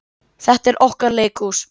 Þetta er okkar leikhús.